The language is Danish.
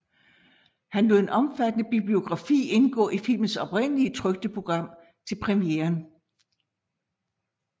Han lod en omfattende bibliografi indgå i filmens oprindelige trykte program til premieren